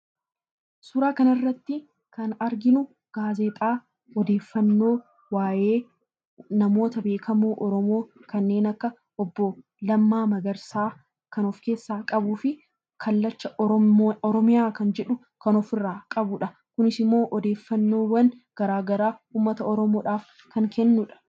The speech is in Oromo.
Suuraa kanarratti kan arginu gaazexaa odeeffannoo waa'ee namoota beekamoo Oromoo kanneen akka Obbo Lammaa Magarsaa kan of keessaa qabuu fi Kallacha Oromiyaa jedhu kan ofirraa qabudha. Kunis immoo odeeffannoowwan garaa garaa uummata Oromoodhaaf kan kennudha.